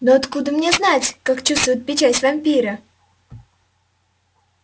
но откуда мне знать как чувствуют печать вампиры